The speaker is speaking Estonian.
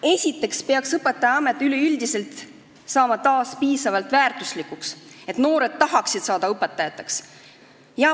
Esiteks peaks õpetajaamet üleüldiselt saama taas piisavalt väärtustatuks, et noored tahaksid õpetajaks saada.